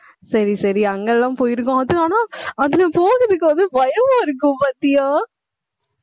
சரி, சரி, அங்க எல்லாம் போயிருக்கோம் அது ஆனா அதுல போறதுக்கு வந்து, பயமா இருக்கும் பாத்தியா